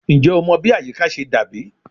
Njẹ o mọ bi ayika ṣe dabi?